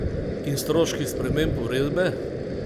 In stroški sprememb uredbe?